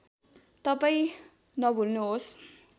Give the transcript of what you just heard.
तपाईँ नभुल्नुहोस्